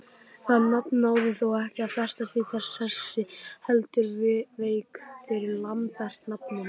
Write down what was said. Það nafn náði þó ekki að festast í sessi heldur vék fyrir Lambert-nafninu.